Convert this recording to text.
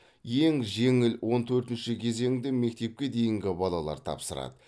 ең жеңіл он төртінші кезеңді мектепке дейінгі балалар тапсырады